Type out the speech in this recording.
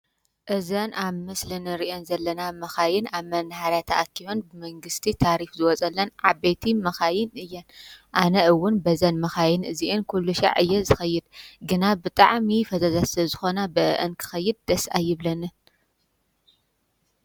እዘን ኣብ ምስሊ እንሪኤን ዘለና መኻይን ኣብ መናሃርያ ተኣኪበን መንግስቲ ታሪፍ ዝወፀለን ዓበይቲ መኻይን እየን። አነ እዉን በዘን መኻይን እዚኣን ኩሉ ሻዕ እየ ዝኸይድ። ግና ብጣዕሚ ፈዛዛት ስለ ዝኾና በአኣን ክከይድ ደስ ኣይብለኒን።